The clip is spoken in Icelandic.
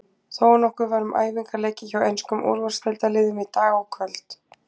Þónokkuð var um æfingaleiki hjá enskum úrvalsdeildarliðum í dag og kvöld.